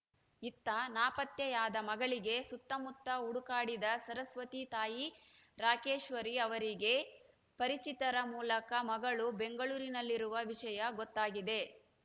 ಇತ್ತ ನಾಪತ್ತೆಯಾದ ಮಗಳಿಗೆ ಸುತ್ತಮುತ್ತ ಹುಡುಕಾಡಿದ ಸರಸ್ವತಿ ತಾಯಿ ರಾಕೇಶ್ವರಿ ಅವರಿಗೆ ಪರಿಚಿತರ ಮೂಲಕ ಮಗಳು ಬೆಂಗಳೂರಿನಲ್ಲಿರುವ ವಿಷಯ ಗೊತ್ತಾಗಿದೆ